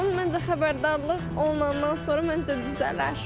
Məncə, xəbərdarlıq olandan sonra məncə düzələr.